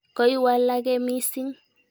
Koiwalake missing'.